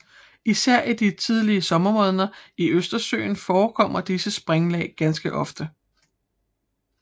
Især i de tidlige sommermåneder i Østersøen forekommer disse springlag ganske ofte